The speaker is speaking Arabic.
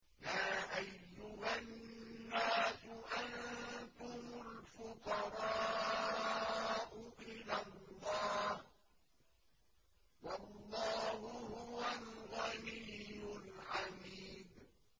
۞ يَا أَيُّهَا النَّاسُ أَنتُمُ الْفُقَرَاءُ إِلَى اللَّهِ ۖ وَاللَّهُ هُوَ الْغَنِيُّ الْحَمِيدُ